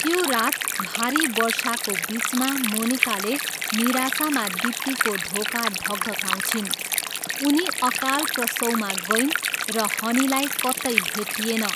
त्यो रात, भारी वर्षाको बिचमा, मोनिकाले निराशामा दीप्तीको ढोका ढकढक्याउँछिन्, उनी अकाल प्रसवमा गइन् र हनीलाई कतै भेटिएन।